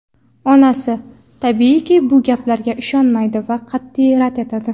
Onasi, tabiiyki, bu gaplarga ishonmaydi va qat’iy rad etadi.